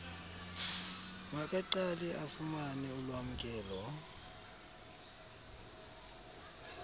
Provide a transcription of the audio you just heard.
makaqale afumane ulwamkelo